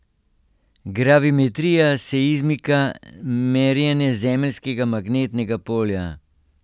Gravimetrija, seizmika, merjenje zemeljskega magnetnega polja!